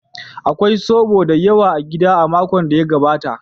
Akwai zoɓo da yawa a gida a makon da ya gabata.